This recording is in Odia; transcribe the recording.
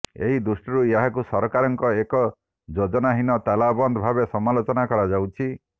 ଏହି ଦୃଷ୍ଟିରୁ ଏହାକୁ ସରକାରଙ୍କର ଏକ ଯୋଜନାହୀନ ତାଲାବନ୍ଦ ଭାବେ ସମାଲୋଚନା କରାଯାଉଛି